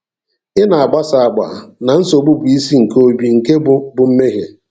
Ị na-agbasa agba na nsogbu bụ isi nke obi, nke bụ bụ mmehie.